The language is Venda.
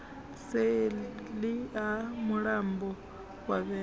seḽi ha mulambo wa vhembe